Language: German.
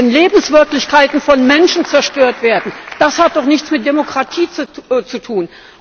Wenn Lebenswirklichkeiten von Menschen zerstört werden, das hat doch nichts mit Demokratie zu tun!